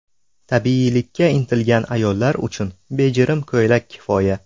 Tabiiylikka intilgan ayollar uchun bejirim ko‘ylak kifoya.